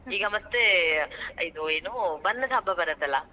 ಈಗಾ ಮತ್ತೆ ಹ್ಮ್.ಇದು ಬಣ್ಣದ ಹಬ್ಬಾ ಬರತಲಾ.